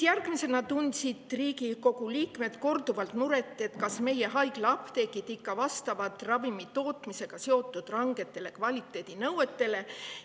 Järgmisena tundsid Riigikogu liikmed korduvalt muret selle pärast, kas meie haiglaapteegid ikka vastavad ravimitootmisega seotud rangetele kvaliteedinõuetele.